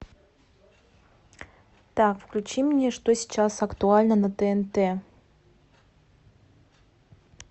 так включи мне что сейчас актуально на тнт